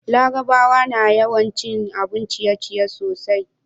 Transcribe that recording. larabawa na yawan cin abun ciye ciye sosai